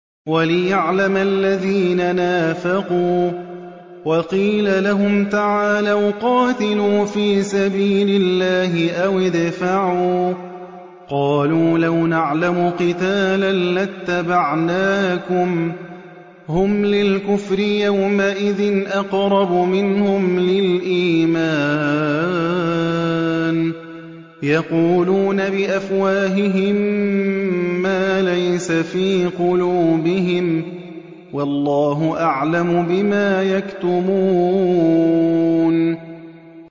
وَلِيَعْلَمَ الَّذِينَ نَافَقُوا ۚ وَقِيلَ لَهُمْ تَعَالَوْا قَاتِلُوا فِي سَبِيلِ اللَّهِ أَوِ ادْفَعُوا ۖ قَالُوا لَوْ نَعْلَمُ قِتَالًا لَّاتَّبَعْنَاكُمْ ۗ هُمْ لِلْكُفْرِ يَوْمَئِذٍ أَقْرَبُ مِنْهُمْ لِلْإِيمَانِ ۚ يَقُولُونَ بِأَفْوَاهِهِم مَّا لَيْسَ فِي قُلُوبِهِمْ ۗ وَاللَّهُ أَعْلَمُ بِمَا يَكْتُمُونَ